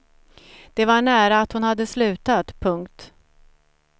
Det var nära att hon hade slutat. punkt